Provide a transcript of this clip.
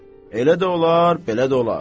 Elə də olar, belə də olar.